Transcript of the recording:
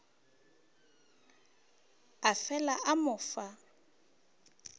a fela a mo fa